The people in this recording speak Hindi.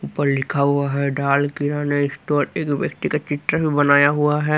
ऊपर लिखा हुआ है दाल किराना स्टोर एक व्यक्ति का चित्र भी बनाया हुआ है।